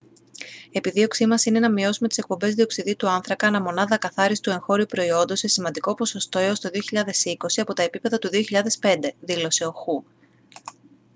«επιδίωξή μας είναι να μειώσουμε τις εκπομπές διοξειδίου του άνθρακα ανά μονάδα ακαθάριστου εγχώριου προϊόντος σε σημαντικό ποσοστό έως το 2020 από τα επίπεδα του 2005» δήλωσε ο χου